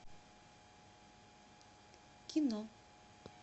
кино